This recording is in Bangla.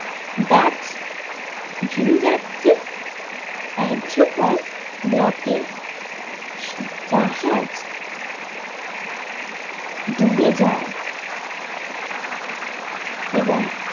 ডাচ ভিন যাত্রী এড্ৰি কন ব্লকে জাহাজ ডুবে যায় এবং।